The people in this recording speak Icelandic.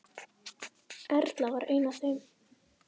Erla var ein af þeim.